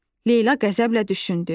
Leyla qəzəblə düşündü.